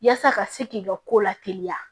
Yaasa ka se k'i ka ko lateliya